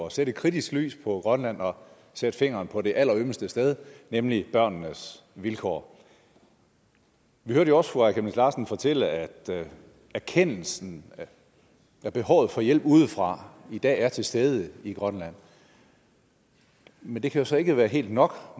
at sætte et kritisk lys på grønland og sætte fingeren på det allerømmeste sted nemlig børnenes vilkår vi hørte også fru aaja chemnitz larsen fortælle at erkendelsen af behov for hjælp udefra i dag er til stede i grønland men det kan jo så ikke være helt nok